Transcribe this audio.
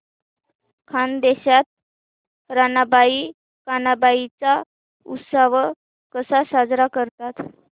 खानदेशात रानबाई कानबाई चा उत्सव कसा साजरा करतात